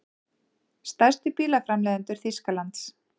Stærstu bílaframleiðendur Þýskalands.